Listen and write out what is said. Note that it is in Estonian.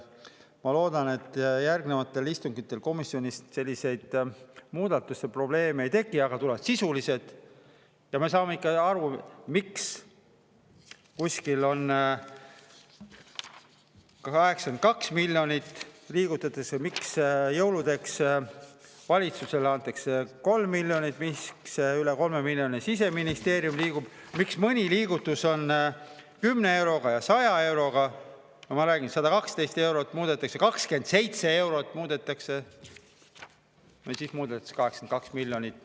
Ma loodan, et järgnevatel istungitel komisjonis selliseid muudatuste probleeme ei teki, aga tulevad sisulised, ja me saame ikkagi aru, miks kuskil on 82 miljonit liigutatud või miks jõuludeks valitsusele antakse 3 miljonit, miks Siseministeerium liigutab üle 3 miljoni, miks mõni liigutus on 10 euroga ja 100 euroga, ma räägin: 112 eurot muudetakse, 27 eurot muudetakse, või siis muudeti see 82 miljonit.